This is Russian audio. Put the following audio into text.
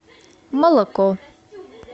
молоко